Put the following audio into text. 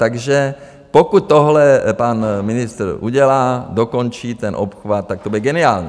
Takže pokud tohle pan ministr udělá, dokončí ten obchvat, tak to bude geniální.